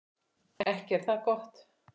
Ekki er það gott.